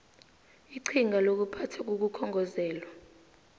iqhinga lokuphathwa kokukhongozelwa